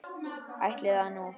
Ætli það nú.